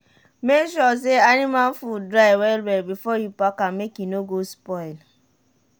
make sure say anima food dry well well before you pack am make e no go spoil.